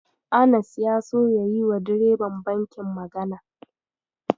Anas ya so ya yiwa direban bankin magana.